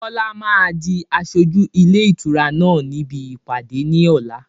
Bọlá máa di aṣojú ilé ìtura náà níbi ìpàdé ní ọ̀la.